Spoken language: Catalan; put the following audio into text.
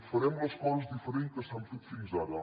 farem les coses diferents de com s’han fet fins ara